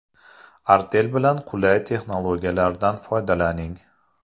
Artel bilan qulay texnologiyalardan foydalaning.